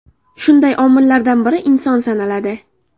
Shunday omillardan biri inson sanaladi.